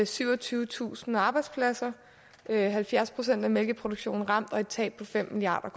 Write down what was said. syvogtyvetusind arbejdspladser halvfjerds procent af mælkeproduktionen ramt og et tab på fem milliard